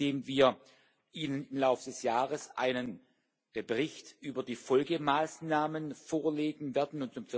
Zum Dritten, indem wir Ihnen im Laufe des Jahres einen Bericht über die Folgemaßnahmen vorlegen werden.